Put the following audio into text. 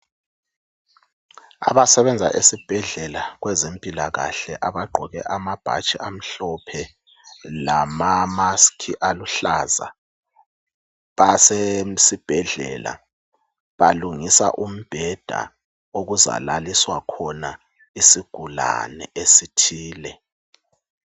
Abasebenza esibhedlela kwezempilakahle abagqoke amabhatshi amhlophe lamamask aluhlaza basesibhedlela balungisa umbheda lapho okuzalaliswa khona isigulani esithile.